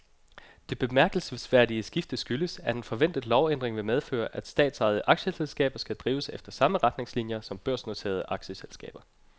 Det bemærkelsesværdige skifte skyldes, at en forventet lovændring vil medføre, at statsejede aktieselskaber skal drives efter samme retningslinier som børsnoterede aktieselskaber.